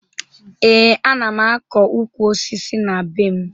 Ee, ana m akọ ukwu osisi na be m